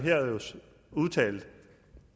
udtalt